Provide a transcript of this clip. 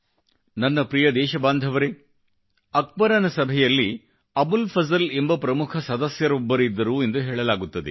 ನನ್ನ ಪ್ರಿಯ ದೇಶ ಬಾಂಧವರೇ ಅಕ್ಬರನ ಸಭೆಯಲ್ಲಿ ಅಬುಲ್ ಫಜಲ್ ಎಂಬ ಪ್ರಮುಖ ಸದಸ್ಯರೊಬ್ಬರಿದ್ದರು ಎಂದು ಹೇಳಲಾಗುತ್ತದೆ